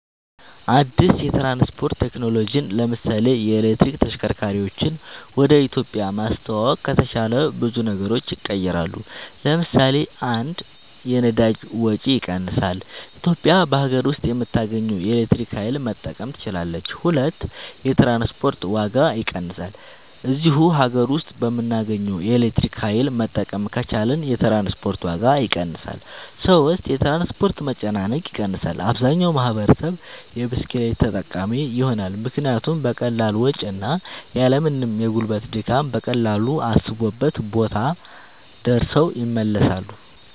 አድስ የትራንስፖርት ቴክኖሎጅን ለምሳሌ የኤሌክትሪክ ተሽከርካርወችን ወደ ኢትዮጵያ ማስተዋወቅ ከተቻለ ብዙ ነገሮች ይቀየራሉ ለምሳሌ 1 የነዳጅ ወጭ ይቀንሳል ኢትዮጵያ በሀገር ውስጥ በምታገኘው የኤሌክትሪክ ኃይል መጠቀም ትችላለች 2 የትራንስፖርት ዋጋ ይቀንሳል እዚሁ ሀገር ውስጥ በምናገኘው ኤሌክትሪክ ኃይል መጠቀም ከቻልን የትራንስፖርት ዋጋ ይቀንሳል 3 የትራንስፖርት መጨናነቅ ይቀንሳል አብዛኛው ማህበረሰብ የብስክሌት ተጠቃሚ ይሆናልምክንያቱም በቀላል ወጭ እና ያልምንም የጉልበት ድካም በቀላሉ አሰቡበት ቦታ ደርሰው ይመለሳሉ